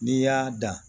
N'i y'a dan